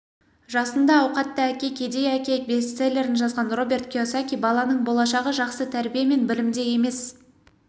жасында ауқатты әке кедей әке бестселлерін жазған роберт кийосаки баланың болашағы жақсы тәрбие мен білімде емес